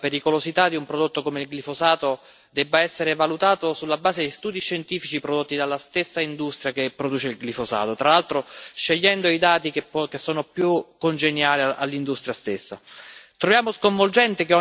Perciò troviamo sconvolgente che la pericolosità di un prodotto come il glifosato debba essere valutata sulla base di studi scientifici prodotti dalla stessa industria che produce il glifosato, tra l'altro scegliendo i dati che sono più congeniali all'industria stessa.